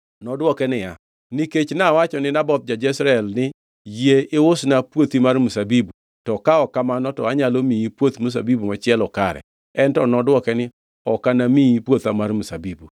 Nodwoke niya, “Nikech nawacho ni Naboth ja-Jezreel ni, ‘Yie iusna puothi mar mzabibu; to ka ok kamano, to anyalo miyi puoth mzabibu machielo kare.’ En to nodwoke ni, ‘Ok anamiyi puotha mar mzabibu.’ ”